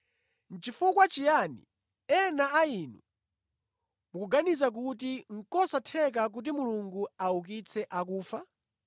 Nʼchifukwa chiyani ena a inu mukuganiza kuti nʼkosatheka kuti Mulungu aukitse akufa?